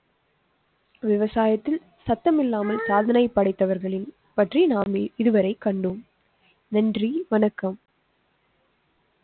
விவசாயத்தில் சத்தமில்லாமல் சாதனை படைத்தவர்களின் பற்றி நாம் இதுவரை கண்டோம் நன்றி வணக்கம்.